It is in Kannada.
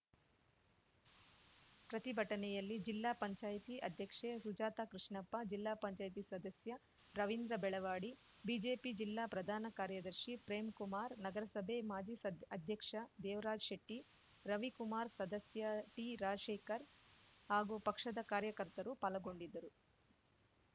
ಪ್ರತಿಭಟನೆಯಲ್ಲಿ ಜಿಲ್ಲಾ ಪಂಚಾಯಿತಿ ಅಧ್ಯಕ್ಷೆ ಸುಜಾತ ಕೃಷ್ಣಪ್ಪ ಜಿಲ್ಲಾಪಂಚಾಯತಿ ಸದಸ್ಯ ರವಿಂದ್ರ ಬೆಳವಾಡಿ ಬಿಜೆಪಿ ಜಿಲ್ಲಾ ಪ್ರಧಾನ ಕಾರ್ಯದರ್ಶಿ ಪ್ರೇಮ್‌ಕುಮಾರ್‌ ನಗರಸಭೆ ಮಾಜಿ ಸದ್ ಅಧ್ಯಕ್ಷ ದೇವರಾಜ್‌ ಶೆಟ್ಟಿ ರವಿಕುಮಾರ್‌ ಸದಸ್ಯ ಟಿರಾಜಶೇಖರ್‌ ಹಾಗೂ ಪಕ್ಷದ ಕಾರ್ಯಕರ್ತರು ಪಾಲಗೊಂಡಿದ್ದರು